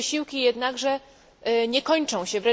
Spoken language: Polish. Nasze wysiłki jednakże nie kończą się.